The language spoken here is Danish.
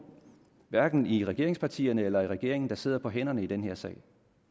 hverken i regeringspartierne eller i regeringen der sidder på hænderne i den her sag